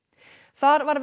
þar var